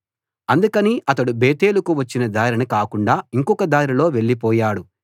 అందుకని అతడు బేతేలుకు వచ్చిన దారిన కాకుండా ఇంకొక దారిలో వెళ్ళిపోయాడు